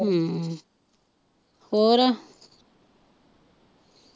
ਹਮ ਹੋਰ।